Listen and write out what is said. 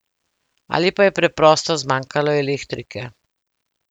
Ali pa je preprosto zmanjkalo elektrike.